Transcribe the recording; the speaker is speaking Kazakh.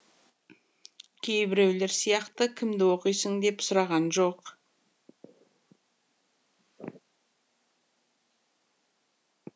кейбіреулер сияқты кімді оқисың деп сұраған жоқ